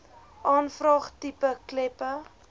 aanvraag tipe kleppe